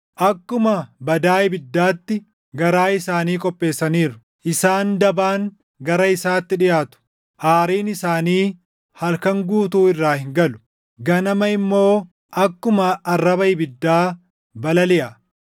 Akkuma badaa ibiddaatti garaa isaanii qopheessaniiru; isaan dabaan gara isaatti dhiʼaatu. Aariin isaanii halkan guutuu irraa hin galu; ganama immoo akkuma arraba ibiddaa balaliʼa.